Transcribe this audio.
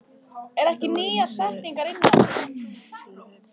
Stofan hefur bæði góð og róandi áhrif á hana.